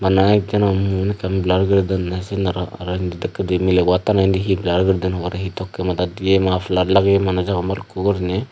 bana ek jono mun ekkan blur guri dunne sin aro he dakkedi milebu attano indi he blur guri dun hobare he tokki madat diye maflar lageyi manuj agon bhalukkun guriney.